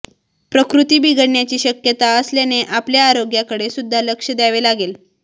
प्रकृती बिघडण्याची शक्यता असल्याने आपल्या आरोग्याकडे सुद्धा लक्ष द्यावे लागेल